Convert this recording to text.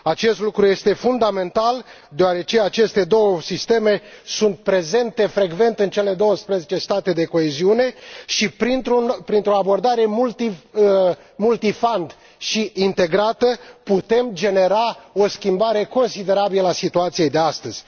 Acest lucru este fundamental, deoarece aceste două sisteme sunt prezente frecvent în cele douăsprezece state de coeziune și, printr o abordare bazată pe mai multe fonduri și integrată, putem genera o schimbare considerabilă a situației de astăzi.